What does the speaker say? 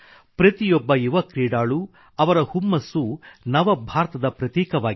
ಪ್ರತಿಯೊಬ್ಬ ಯುವ ಕ್ರೀಡಾಳು ಅವರ ಹುಮ್ಮಸ್ಸು ನವ ಭಾರತದ ಪ್ರತೀಕವಾಗಿದೆ